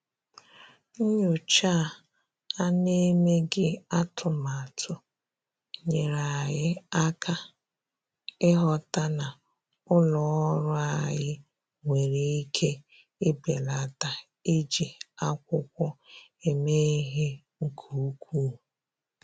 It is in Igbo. Nyòchá à nà-èméghị́ atụ́matụ nyèèrè anyị́ áká ị́ghọ́tà na ụ́lọ́ ọ́rụ́ anyị́ nwere ike ibèlàtá iji ákwụ́kwọ́ èmé ìhè nke ukwuu.